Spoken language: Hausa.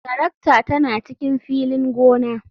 Tarakta tana cikin filin gona.